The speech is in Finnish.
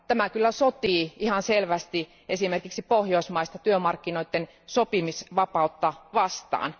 Tämä sotii ihan selvästi esimerkiksi pohjoismaista työmarkkinoiden sopimisvapautta vastaan.